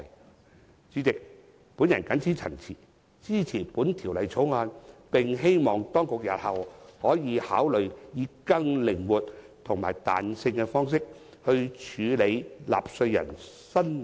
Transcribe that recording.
代理主席，我謹此陳辭，支持《條例草案》，並希望當局日後可以考慮以更靈活及具彈性的方式，處理納稅人申領免稅額的安排。